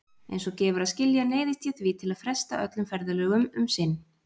Eins og gefur að skilja neyðist ég því til að fresta öllum ferðalögum um sinn.